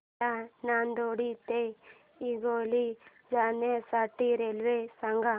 मला नांदेड ते हिंगोली जाण्या साठी रेल्वे सांगा